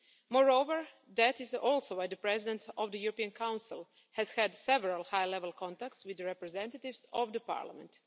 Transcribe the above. Moreover, that is also why the President of the European Council has had several high level contacts with the representatives of the Parliament.